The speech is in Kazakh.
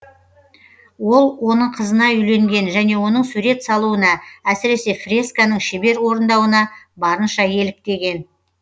ол оның қызына үйленген және оның сурет салуына әсіресе фресканың шебер орындауына барынша еліктеген